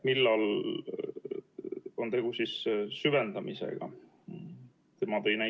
Millal on tegu süvendamisega?